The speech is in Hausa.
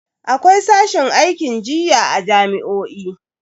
Akwai sashin aikin jinya a jami'o'i.